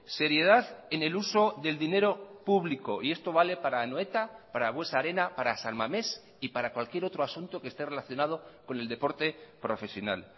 seriedad en el uso del dinero público y esto vale para anoeta para buesa arena para san mames y para cualquier otro asunto que esté relacionado con el deporte profesional